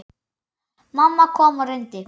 Mamma kom og reyndi.